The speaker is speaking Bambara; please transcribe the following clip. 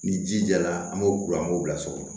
Ni ji jara an b'o bila o an b'o bila so kɔnɔ